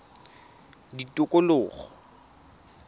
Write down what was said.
tikologo